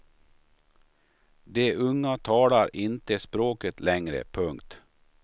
De unga talar inte språket längre. punkt